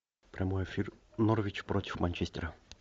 прямой эфир норвич против манчестера